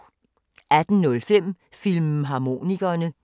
18:05: Filmharmonikerne